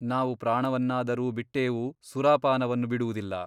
ನಾವು ಪ್ರಾಣವನ್ನಾದರೂ ಬಿಟ್ಟೇವು ಸುರಾಪಾನವನ್ನು ಬಿಡುವುದಿಲ್ಲ.